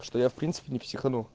что я в принципе не психанул